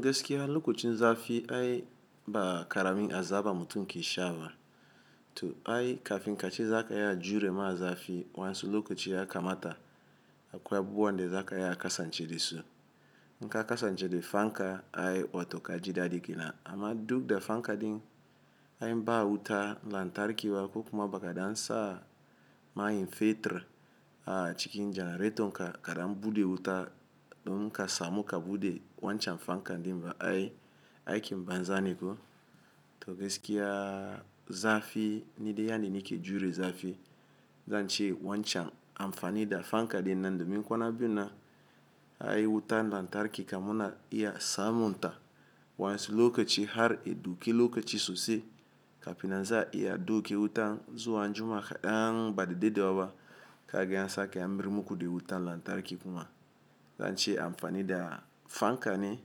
Geskia lokacin zafi ai ba karami azaba mutum ke shawara. To ai kafin ka ce za ka iya jure ma zafi wansu lokaci ya kamata akwai abubwan da za ka iya kasance da su. Nka kasance da fanka ai wato ka ji dada kenan. Ama duk da fanka din ai n ba wuta lantarki ba ko kuma baka dan sa mayin fetur a cikin janareton ka, ka dan bude wuta domun ka samu ka bude wancan fankan din ba ai aikin banza ne ko? To geskiya zafi ni dai yanni ni ke jure zafi. Zan ce wancan amfani da fanka din nan domin kwana biyun na ai wuta lantarki kam muna iya samun ta wansu lokaci har ya dauke lokaci sosai kafin nan za iya dauke wutan zuwa anjima kadan ba da dedewa ba. Ka gan an sake an mar muku da wutan lantarki kuma. Zan ce amfani da fanka ne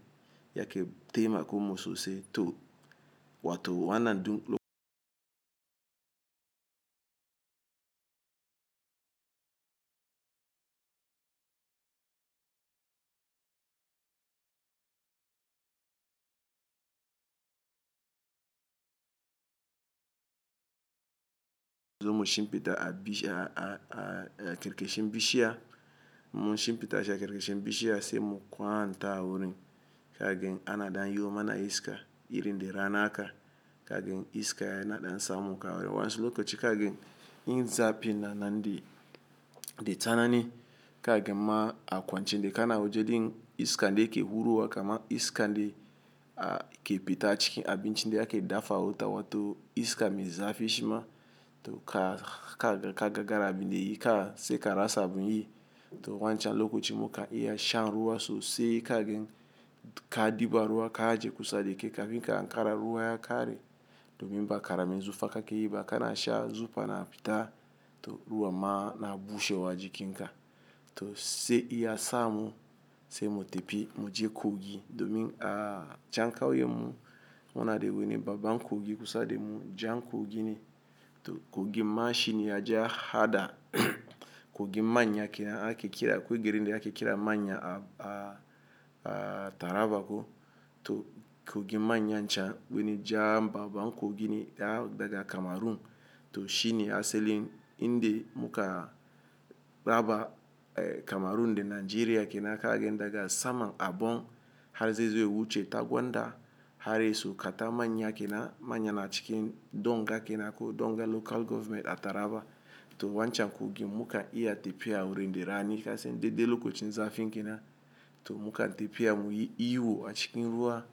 yake taimako mun sosai to wato wannan du lok. Mun shinfida a karkashin bishiya, mun shinfida shi a karkashin bishiya sai mu kwanta a wurin ka gan ana dan yiwo mana iska irin da rana haka. Ka gane iska yana dan samun ka wurin wansu lokaci ka gane irin zafin nan na dai. Da tsanani ka gane ma a kwaciyen da kana wajen din iska da ke hurowa kaman iskan da ke fita a cikin abincin da ake dafa a wuta wato iska mai zafi shima to ka ka gane ka gagara abin de yi ka sai ka rasa abun yi. To wancan lokacin muka iya shan ruwa sosai ka gane ka diba ruwa ka aje kusa da kai kafin ka hankara ruwa ya kare domin ba karamin zufa kake yi ba kana sha zufa na fita to ruwan ma na bushewa jikin ka. To sai iya samu sai mu tafi mu je kogi domin a can kauyen mu mu na da wani babban kogi kusa da mu jan kogi ne. To kogin ma shi ne ya je ya hada kogin manya kenan ake kira, akwai garin de ake kiran manya a Taraba ko. To kogin manya can wani jan babban kogi ne yan daga Kamarun. To shi ne assalin in da muka raba Kamarun da Nigeria kenan ka gane daga saman Abong har zai zo ya wuce Tagwanda har ya iso kata manya kenan. Manya na cikin Donga kenan ko Donga Local Government a Taraba. To wancan kogin muka iya tafiya wurin da rani ka san dai dai lokacin zafin kenan. To muka tafiya mu yi ihu a cikin ruwa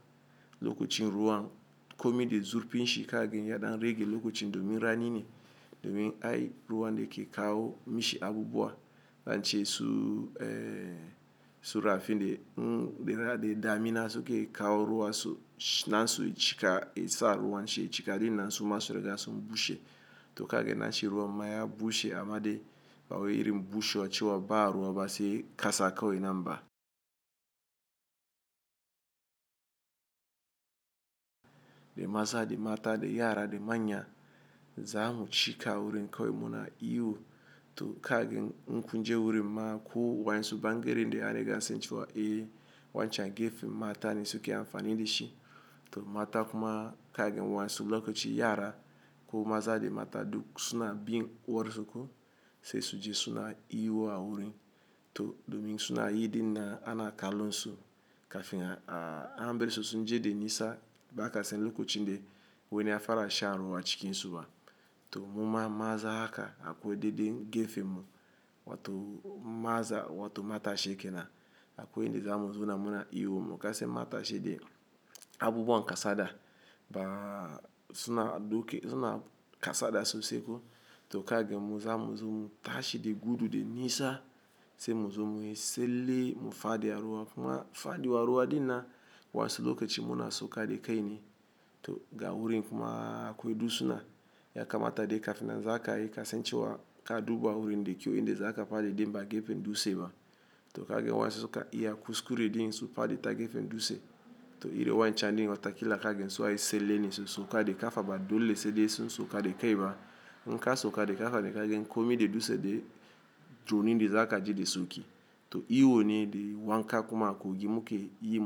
lokacin ruwan komai dai zurfin shi ka gane ya na rage lokacin domin rani ne. Domin ai ruwan da ke kawo mi shi abubuwa. Zan ce su eh su rafin de ra de damina suke kawo ruwa su nan su cika isa ruwan shi cika din nan su ma sun riga sun bushe. To ka gane na shi ruwa ma ya bushe amma dai ba wau irin bushewa cewa ba ruwa ba sai kasa kawai nan ba. De maza de mata de yara de manya za mu cika wurin kawai muna ihu to ka gane nku je wurin ma ko wansu bangeren de an riga an san cewa. Eh wan can gefen mata ne suke amfani da shi. To mata kuma ka gane wansu lokaci yara ko maza da mata duk suna bin warzuku. Sai su je suna ihu a wurin to domin suna yi den nan a na kalon su kafin a an bar sun je da nisa ba ka san lokacin da wani ya fafara shan ruwa a cikin su ba. To mu ma maza haka akwai dai dai gefen mu wato maza wato matashi kenan akwai in da mu zauna mu na ihun mu ka san matashi da abubuwan kasada ba su na dauke su na kasa da sosai ko. To ka gane mu za mu zo mu tashi da gudu da nisa sai mu zo mu yi tsale mu fadi a ruwa kuma fadiwan ruwa den nan wansu lokaci muna sauka da kai ne to ga wurin kuma akwai dutsuna ya kamata dai kafin nan za ka yi ka san cewa ka duba wurin da kyau in da za ka fadi dai ba gefen dutse ba. To ka gane wan su su kan iya kuskure din su fadi ta gefen dutse. To irin wancan din wata kila ka gane su na yi tsele ne su sauka da kafa ba dole sai de su sauka da kai ba. Nka sauka da kafa dai ka gane ko mai da dutse dai to nan ne za ka ji da sauki. To ihu ne da wanka kuma a kogi mu ke yi.